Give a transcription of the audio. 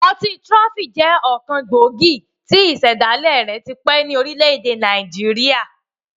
Ọtí trophy jẹ ọkan gbòógì tí ísẹ̀dàlẹ́ rẹ̀ tipẹ́ ni orílẹ̀ èdè Nàìjíríà.